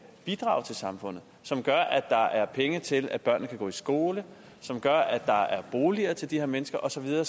bidrage til samfundet som gør at der er penge til at børnene kan gå i skole som gør at der er boliger til de her mennesker og så videre og